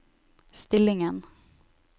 stillingen